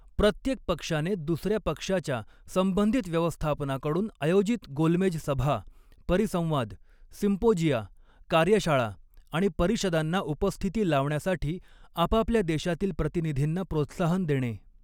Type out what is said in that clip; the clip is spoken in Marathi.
प्रत्येक पक्षाने दुसऱ्या पक्षाच्या संबधित व्यवस्थापनाकडून आयोजित गोलमेज सभा, परिसंवाद, सिम्पोजिया, कार्यशाळा आणि परिषदांना उपस्थिती लावण्यासाठी आपापल्या देशातील प्रतिऩिधींना प्रोत्साहन देणे.